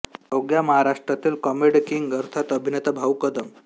अवघ्या महाराष्ट्रातील comedy king अर्थात अभिनेता भाऊ कदम